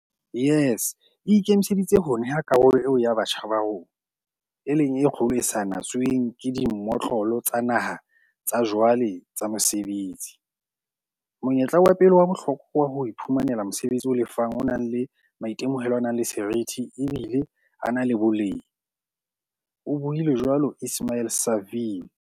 "YES e ikemiseditse ho neha karolo eo ya batjha ba rona, e leng e kgolo e sa natsweng ke dimotlolo tsa naha tsa jwale tsa mosebetsi, monyetla wa pele wa bohlokwa wa ho iphumanela mosebetsi o lefang o nang le maitemohelo a nang le seriti, ebile a na le boleng," o buile jwalo Ismail-Saville.